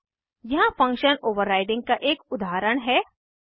यहाँ function overriding overriding का एक उदाहरण है